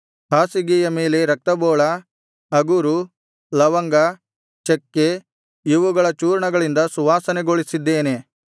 ಹಾಸಿಗೆಯ ಮೇಲೆ ರಕ್ತಬೋಳ ಅಗುರು ಲವಂಗ ಚಕ್ಕೆ ಇವುಗಳ ಚೂರ್ಣಗಳಿಂದ ಸುವಾಸನೆಗೊಳಿಸಿದ್ದೇನೆ